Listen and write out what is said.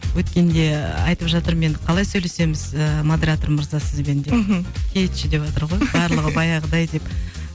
өткенде айтып жатырмын енді қалай сөйлесеміз ыыы модератор мырза сізбен деп мхм кетші деватыр ғой барлығы баяғыдай деп